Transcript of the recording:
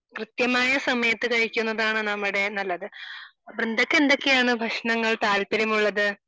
കൃത്യമായ സമയത്തു കഴിക്കുന്നതാണ് നമ്മുടെ നല്ലത് . വൃന്ദക്ക് എന്തൊക്കെയാണ് ഭക്ഷണങ്ങൾ താല്പര്യം ഉള്ളത്